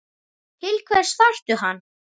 Til hvers þarftu hann?